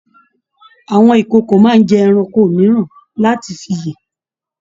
Àwọn ìkòkò máa n jẹ ẹranko mìíràn láti fí yé.